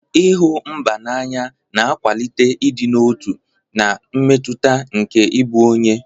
Ịhụ mba n'anya na-akwalite ịdị n'otu na mmetụta nke ịbụ onye.